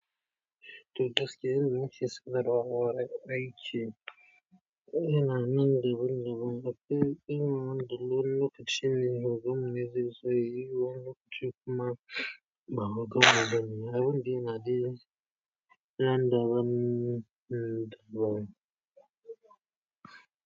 Tunda ake yin ciki suna rawa ai ce, yana nan daban-daban. Hakke, in mun zo lokacin yin hokan, me zai zai yi? Wani kici kuma ba maganan bane wanda ya daina ɗin banda wani damuwa.